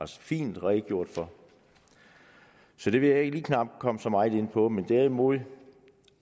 så fint har redegjort for så det vil jeg ikke komme så meget ind på men derimod